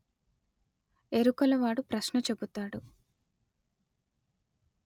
ఎరుకల వాడు ప్రశ్న చెబుతాడు